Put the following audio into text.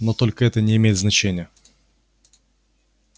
но только это не имеет значения